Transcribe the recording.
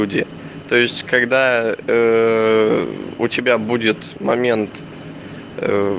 вроде то есть когда у тебя будет момент ээ